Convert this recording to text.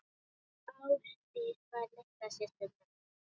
Ásdís var litla systir mömmu.